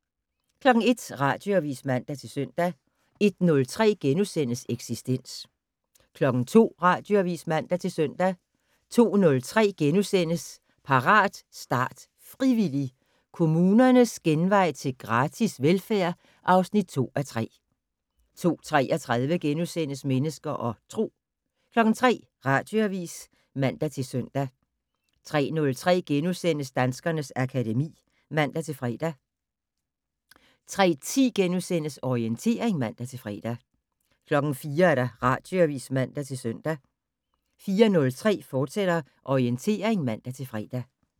01:00: Radioavis (man-søn) 01:03: Eksistens * 02:00: Radioavis (man-søn) 02:03: Parat, start, frivillig! - Kommunernes genvej til gratis velfærd (2:3)* 02:33: Mennesker og Tro * 03:00: Radioavis (man-søn) 03:03: Danskernes akademi *(man-fre) 03:10: Orientering *(man-fre) 04:00: Radioavis (man-søn) 04:03: Orientering, fortsat (man-fre)